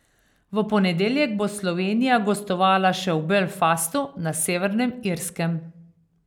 V ponedeljek bo Slovenija gostovala še v Belfastu na Severnem Irskem.